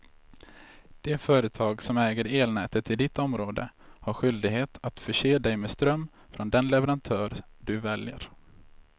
Det företag som äger elnätet i ditt område har skyldighet att förse dig med ström från den leverantör du väljer.